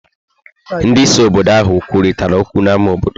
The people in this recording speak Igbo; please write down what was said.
Ndị isi obodo ahụ kwurịtara okwu n'ámá obodo.